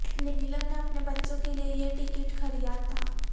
نیلم نے اپنے بچوں کے لیے یہ ٹکٹ خریاد تھا